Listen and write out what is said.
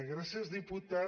gràcies diputat